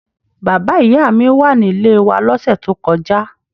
Bàbá-ìyá mi wà nílé wa lọ́sẹ̀ tó kọjá.